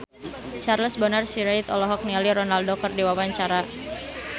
Charles Bonar Sirait olohok ningali Ronaldo keur diwawancara